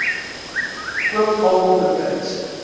koop almal betyds